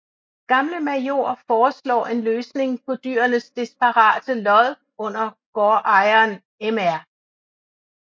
Gamle Major foreslår en løsning på dyrenes desperate lod under gårdejeren mr